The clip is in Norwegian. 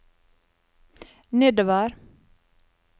nedover